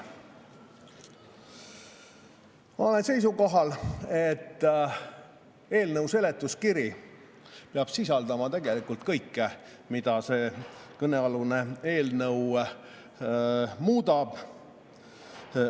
Ma olen seisukohal, et eelnõu seletuskiri peab sisaldama kõike, mida kõnealune eelnõu muudab.